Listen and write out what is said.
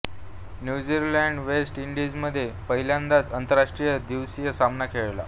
न्यूझीलंडने west इंडीजमध्ये पहिल्यांदाच आंतरराष्ट्रीय दिवसीय सामना खेळला